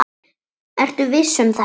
Ertu viss um þetta?